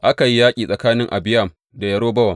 Aka yi yaƙi tsakanin Abiyam da Yerobowam.